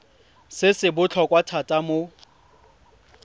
se se botlhokwa thata mo